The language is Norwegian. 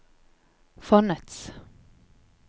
fondets